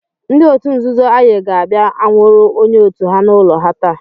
Ndị otu nzuzo Aye ga-abịa anwụrụ onye otu ha n'ụlọ ha taa.